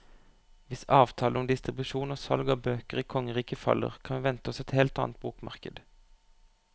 Hvis avtalen om distribusjon og salg av bøker i kongeriket faller, kan vi vente oss et helt annet bokmarked.